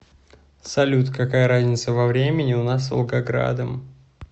салют какая разница во времени у нас с волгоградом